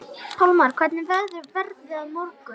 Pálmar, hvernig verður veðrið á morgun?